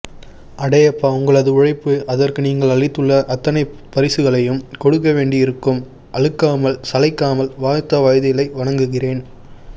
அடேயப்பாஉங்களது உழைப்பு அதற்கு நீங்கள் அளித்துள்ள அத்தனை பரிசுகளையும் கொடுக்கவேண்டியிருக்கும் அலுக்காமல் சளைக்காமல் வாழ்த்த வயதில்லை வணங்குகிறேன்